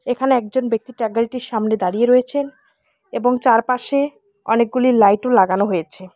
এখানে একজন ব্যক্তি ট্রাগলটির সামনে দাঁড়িয়ে রয়েছেন এবং চারপাশে অনেকগুলি লাইটও লাগানো হয়েছে।